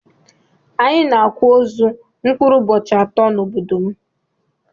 Anyi na akwa ozu mkpụrụ ụbohi atọ na obodom.